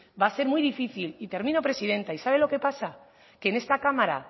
va a ser muy difícil y termino presidenta y sabe lo que pasa que en esta cámara